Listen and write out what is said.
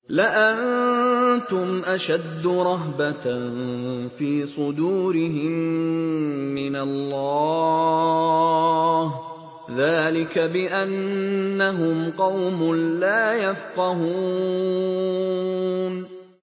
لَأَنتُمْ أَشَدُّ رَهْبَةً فِي صُدُورِهِم مِّنَ اللَّهِ ۚ ذَٰلِكَ بِأَنَّهُمْ قَوْمٌ لَّا يَفْقَهُونَ